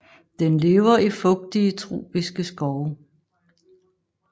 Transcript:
Den lever i fugtige tropiske skove